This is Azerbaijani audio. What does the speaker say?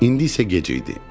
İndi isə gec idi.